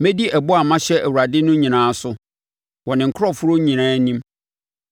Mɛdi ɛbɔ a mahyɛ Awurade no nyinaa so wɔ ne nkurɔfoɔ nyinaa anim.